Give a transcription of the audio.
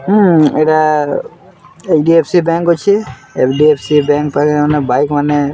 ଉଁ ଇଟା HDFC bank ଅଛେ ଏଫଡିଏଫସି ବ୍ୟାଙ୍କ ପାଖେ ମାନେ ବାଇକ୍ ମାନେ--